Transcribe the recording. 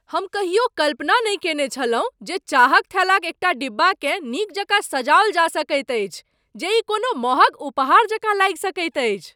हम कहियो कल्पना नहि कयने छलहुँ जे चाहक थैलाक एकटा डिब्बाकेँ नीक जकाँ सजाओल जा सकैत अछि जे ई कोनो मँहग उपहार जकाँ लागि सकैत अछि।